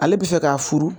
Ale bɛ fɛ ka furu